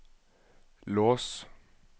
lås